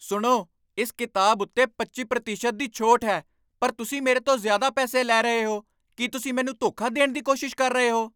ਸੁਣੋ! ਇਸ ਕਿਤਾਬ ਉੱਤੇ ਪੱਚੀ ਪ੍ਰਤੀਸ਼ਤ ਦੀ ਛੋਟ ਹੈ ਪਰ ਤੁਸੀਂ ਮੇਰੇ ਤੋਂ ਜ਼ਿਆਦਾ ਪੈਸੇ ਲੈ ਰਹੇ ਹੋ ਕੀ ਤੁਸੀਂ ਮੈਨੂੰ ਧੋਖਾ ਦੇਣ ਦੀ ਕੋਸ਼ਿਸ਼ ਕਰ ਰਹੇ ਹੋ?